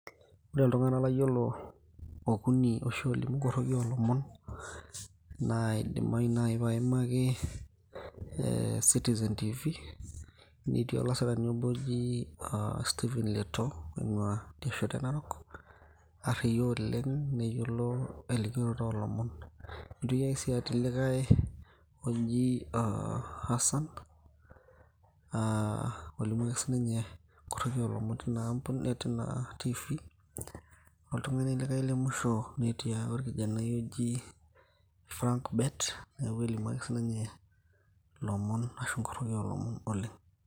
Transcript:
Ore iltung'anak layiolo okuni oshi olimu nkorroki olomon, naa idimayu nai paimaki eh Citizen TV,etii olasirani obo oji Steven Letoo, oing'ua idiasheto e Narok, arriyia oleng' neyiolo elikioroto olomon. Nitoki ake si atii likae oji ah Hassan, ah olimu ake sinye nkorroki olomon tina TV. Oltung'ani likae lemusho, netii ake orkijanai oji Frank Bet, kelimu ake sininye ilomon ashu inkorroki olomon oleng'.